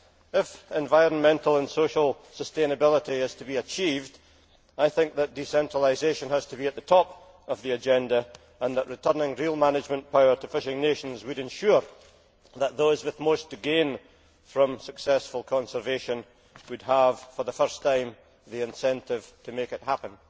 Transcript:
If environmental and social sustainability is to be achieved, I think that decentralisation has to be at the top of the agenda and that returning real management power to fishing nations would ensure that those with most to gain from successful conservation would have, for the first time, the incentive to make it happen.